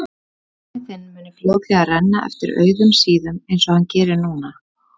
Að penni þinn mun fljótlega renna eftir auðum síðum einsog hann gerir núna.